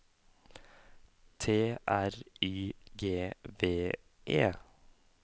T R Y G V E